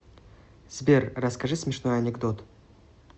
сбер расскажи смешной анекдот